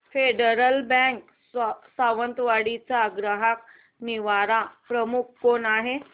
federal Bank Sawantwadi चा ग्राहक निवारण प्रमुख कोण आहे